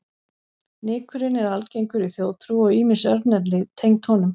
Nykurinn er algengur í þjóðtrú og ýmis örnefni tengd honum.